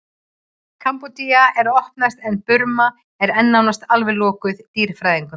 kambódía er að opnast en burma er enn nánast alveg lokuð dýrafræðingum